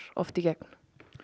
oft í gegn